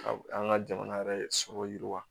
Ka an ka jamana yɛrɛ sɔrɔ yiriwa